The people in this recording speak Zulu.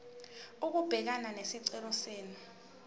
ukubhekana nesicelo senu